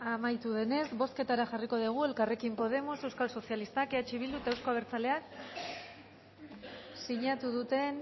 amaitu denez bozketara jarriko dugu elkarrekin podemos euskal sozialistak eh bildu eta euzko abertzaleak sinatu duten